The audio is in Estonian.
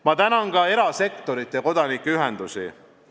Ma tänan ka erasektorit ja kodanikuühendusi.